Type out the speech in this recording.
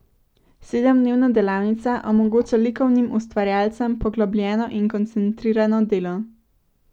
Sedemdnevna delavnica omogoča likovnim ustvarjalcem poglobljeno in koncentrirano delo.